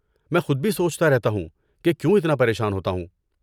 میں خود بھی سوچتا رہتا ہوں، کہ کیوں اتنا پریشان ہوتا ہوں۔